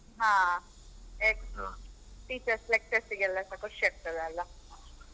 ಹಾ yes teachers lectures ಗೆಲ್ಲಸ ಖುಷ್ಯಾಗ್ತದೆ ಅಲ್ಲ.